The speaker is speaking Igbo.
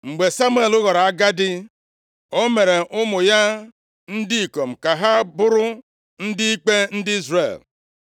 Mgbe Samuel ghọrọ agadi, o mere ụmụ ya ndị ikom ka ha bụrụ ndị ikpe ndị Izrel.